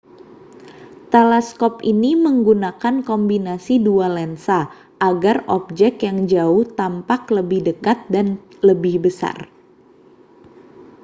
teleskop ini menggunakan kombinasi dua lensa agar objek yang jauh tampak lebih dekat dan lebih besar